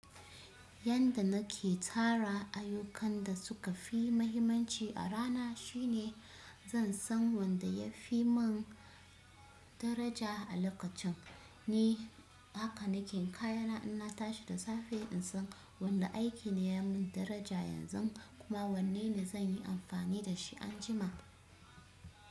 Yanda nake tara ayukan da suka fi mahimmanci a rana shine zan san wanda ya fi min daraja a lokacin. Ni haka nake kaya inna tashi nasan wane aiki ne yamin daraja sai naga wane zanyi amfani dashi anjima.